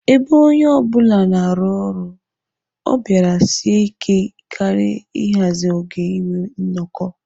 Ebe onye ọ bụla na-arụ ọrụ, ọ bịara sie ike karị ịhazi oge inwe nnọkọ.